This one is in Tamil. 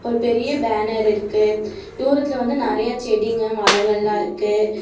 ஒரு பெரிய பேனர் இருக்கு துரத்துல வந்து நெரிய செடிங்க மரங்கலாம் இருக்கு.